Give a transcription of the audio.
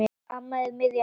Amma er miðjan okkar.